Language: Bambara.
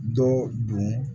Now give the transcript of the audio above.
Dɔ don